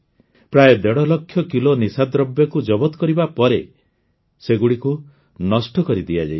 ପ୍ରାୟ ଦେଢ଼ ଲକ୍ଷ କିଲୋ ନିଶାଦ୍ରବ୍ୟକୁ ଜବତ କରିବା ପରେ ସେଗୁଡ଼ିକୁ ନଷ୍ଟ କରିଦିଆଯାଇଛି